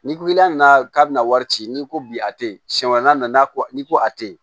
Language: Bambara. Ni i la nana k'a bɛna wari ci n'i ko bi a tɛ yen siɲɛ wɛrɛ n'a nana n'i ko a tɛ ye